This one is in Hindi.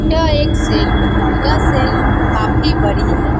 यह एक सैलून है। यह सैलून काफी बड़ी है।